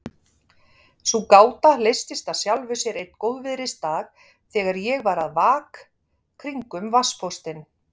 Sú gáta leystist af sjálfu sér einn góðviðrisdag þegar ég var að vak kringum vatnspóstinn.